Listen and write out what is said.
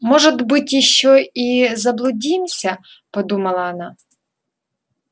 может быть ещё и заблудимся подумала она